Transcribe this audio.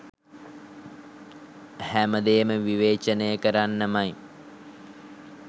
හැම දේම විවේචනය කරන්නමයි.